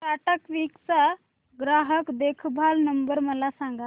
Tata CLiQ चा ग्राहक देखभाल नंबर मला सांगा